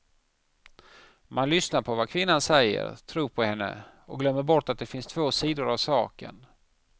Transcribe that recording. Man lyssnar på vad kvinnan säger, tror på henne och glömmer bort att det finns två sidor av saken.